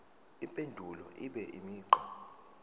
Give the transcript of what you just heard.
impendulo ibe imigqa